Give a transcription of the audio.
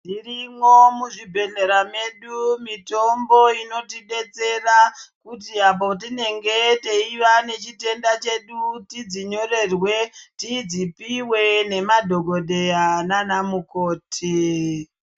Irimwo muzvibhedhlera medu mitombo inotidetsera kuti apo tinenge teiva nechitenda chedu tidzinyorerwe tidzipiwe nemadhogodheya naana mukoti.